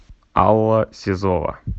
алла сизова